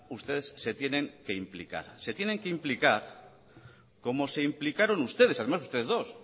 se tienen que implicar se tienen que implicar como se implicaron ustedes además ustedes dos